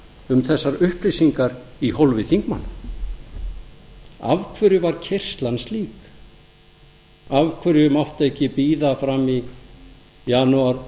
um þessar upplýsingar í hólfi þingmanna af hverju var keyrslan slík af hverju mátti ekki bíða fram í janúar